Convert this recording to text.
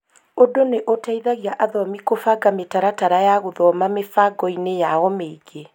Ūndũ nĩ ũteithagia athomi kũbanga mĩtaratara ya gũthoma mĩbango-inĩ yao mĩingĩ.